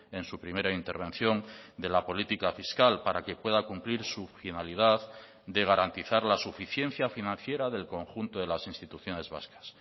en su primera intervención de la política fiscal para que pueda cumplir su finalidad de garantizar la suficiencia financiera del conjunto de las instituciones vascas